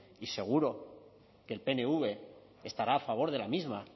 y seguro que el pnv estará a favor de la misma